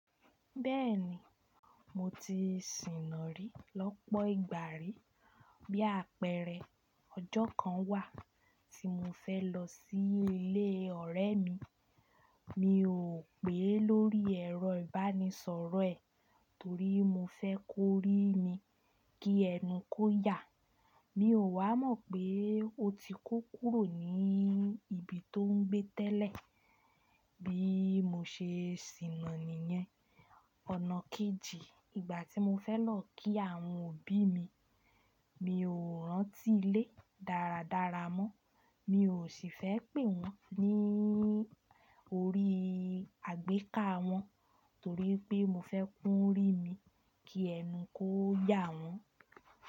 Bẹ́ẹ̀ni, mo ti sìnàrí lọ́pọ̀ ìgbà rí. Bí àpẹẹrẹ, ọjọ́ kan wà tí mo fẹ́ lọ sí ilé ọ̀rẹ́ mi, mi ò pè é lórí ẹ̀rọ ìbánisọ̀rọ̀ ẹ̀ torí mo fẹ́ kó rí mi kí ẹnu kó yà. Mi ò wá mọ̀ pé ó ti kó kúrò ní ibi tó ń gbé tẹ́lẹ̀. Bí mo ṣe sìnà níyẹn. Ọ̀nà kejì, ìgbà tí mo fẹ́ lọ kí àwọn òbí mi, mi ò rántí ilé dáradára mọ́. Mi ò sì fẹ́ pè wọ́n lórí àgbéká wọn torí pé mo fẹ́ kún rí mi kí ẹnu kó yà wọ́n.